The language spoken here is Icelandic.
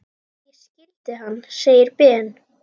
Ég skildi hann! segir Ben.